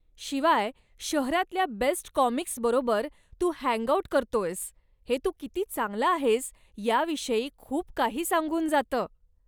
शिवाय शहरातल्या बेस्ट काॅमिक्सबरोबर तू हँग आऊट करतोयस हे तू किती चांगला आहेस याविषयी खूप काही सांगून जातं.